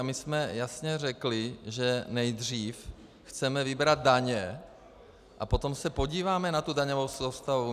A my jsme jasně řekli, že nejdřív chceme vybrat daně a potom se podíváme na tu daňovou soustavu.